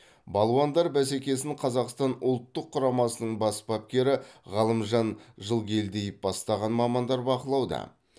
балуандар бәсекесін қазақстан ұлттық құрамасының бас бапкері ғалымжан жылгелдиев бастаған мамандар бақылауда